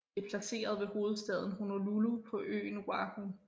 Det er placeret ved hovedstaden Honolulu på øen Oahu